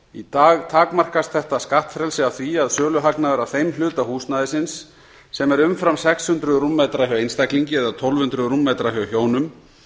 í dag takmarkast þetta skattfrelsi af því að söluhagnaður af þeim hluta húsnæðisins sem er umfram sex hundruð rúmmetra hjá einstaklingi eða tólf hundruð rúmmetra hjá hjónum